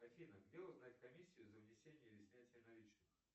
афина где узнать комиссию за внесение или снятие наличных